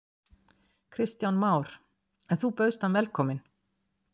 Kristján Már: En þú bauðst hann velkomin?